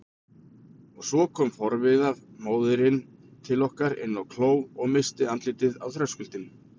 Og svo kom forviða móðirin til okkar inn á kló og missti andlitið á þröskuldinum.